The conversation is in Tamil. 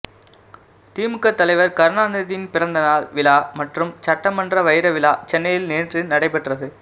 திமுக தலைவர் கருணாநிதியின் பிறந்தநாள் விழா மற்றும் சட்டமன்ற வைர விழா சென்னையில் நேற்று நடைபெற்றது